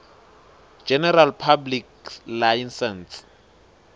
general public license